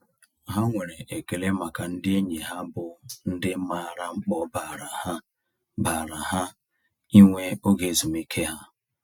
Ha nwere ekele maka ndị enyi ha bụ ndị maara mkpa ọ baara ha baara ha ịnwe oge ezumiike ha.